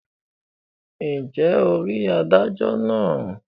ǹjẹ́ o rí adájọ náà?